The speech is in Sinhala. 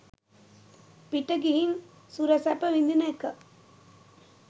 පිට ගිහින් සුර සැප විඳින ඒක